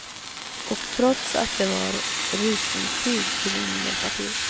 Och trots att det var rusningstid ville ingen hjälpa till.